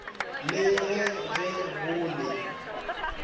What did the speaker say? le ge ge go le